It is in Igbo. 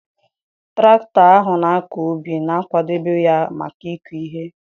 traktọ ahụ na-akọ ubi, na-akwadebe ya maka ịkụ ihe.